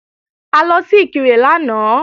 A lọ sí Ìkirè lánàá